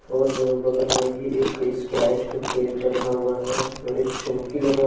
और बगल में ही एक स्प्राइट केट रखा हुआ है और एक चौकी लगा--